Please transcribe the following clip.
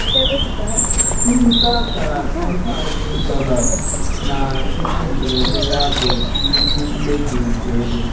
onye na-azụ um ihe kwetara ka ọ kparịta ọnụ ahịa ahụ um na-ekweta um na nkwekọrịta na-adabaghị n'ikpeazụ.